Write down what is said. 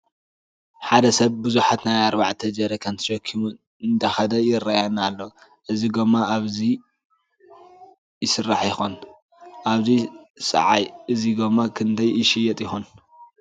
ሓደ ሰብ ቡዙሓት ናይ ኣርባልተ ጀረካን ተሸኪሙ እንዳከደ ይረአየና ኣሎ። እዚ ጎማ እዚ ኣበይ ይስራሕ ይኮን? ኣብዚ ሰዓይ እዚ ጎማ ክንደይ ይሽየጥ ይኮን?